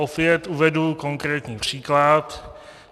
Opět uvedu konkrétní příklad.